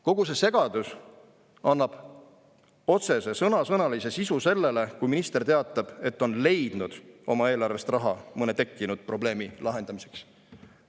Kogu see segadus annab otsese sõnasõnalise sisu sellele, kui minister teatab, et on leidnud oma eelarvest raha mõne tekkinud probleemi lahendamiseks.